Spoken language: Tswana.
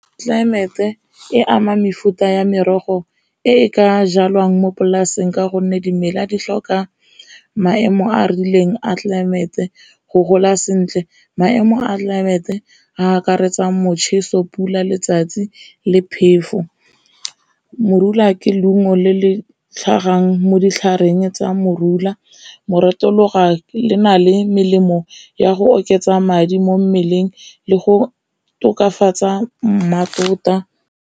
Tlelaemete e ama mefuta ya merogo e e ka jalwang mo polaseng ka gonne dimela di tlhoka maemo a a rileng a tlelaemete go gola sentle, maemo a tlelaemete a akaretsa motjheso, pula, letsatsi le phefo. Morula ke leungo le le tlhagang mo ditlhareng tsa morula, le na le melemo ya go oketsa madi mo mmeleng le go tokafatsa mmatota.